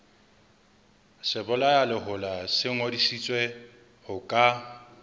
sebolayalehola se ngodisitswe ho ka